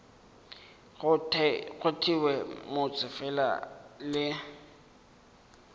go thewe motse fela le